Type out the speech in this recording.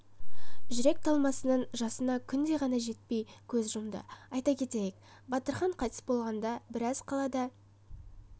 жүрек талмасынан жасына күндей ғана жетпей көз жұмды айта кетейік батырхан қайтыс болғанда біраз қалада